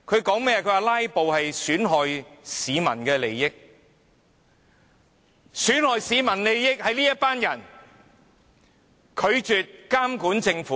他們說"拉布"損害市民利益，但損害市民利益的正是這些拒絕監管政府的人。